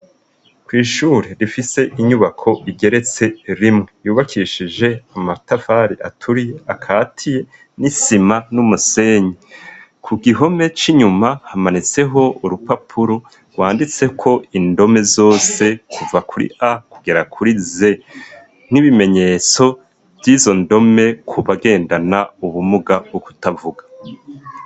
kw'ishuri rifise inyubako igeretse rimwe yubakishije amatafari aturiye akati n'isima n'umusenyi ku gihome c'inyuma hamanitseho urupapuro gwanditseko indome zose kuva kuri a kugera kuri z n'ibimenyetso vy'izo ndome kubagendana ubumuga bwo kutavuga